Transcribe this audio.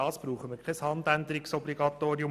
Dafür braucht es kein Handänderungsobligatorium.